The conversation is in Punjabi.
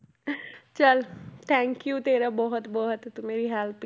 ਚੱਲ thank you ਤੇਰਾ ਬਹੁਤ ਬਹੁਤ ਤੂੰ ਮੇਰੀ help